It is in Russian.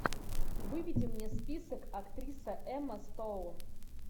выведи мне список актриса эмма стоун